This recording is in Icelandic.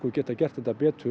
getum gert þetta betur